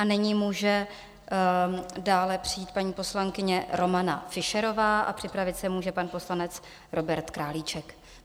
A nyní může dále přijít paní poslankyně Romana Fischerová a připravit se může pan poslanec Robert Králíček.